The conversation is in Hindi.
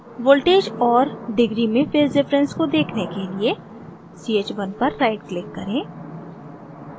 voltages और degree में phase difference को देखने के लिए ch1 पर right click करें